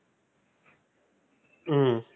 ஹம்